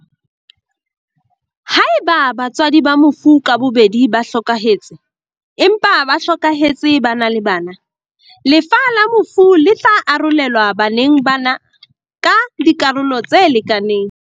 Haeba batswadi ba mofu ka bobedi ba hlokahetse, empa ba hlokahetse ba na le bana, lefa la mofu le tla arolelwa bana ba na ka dikarolo tse lekanang.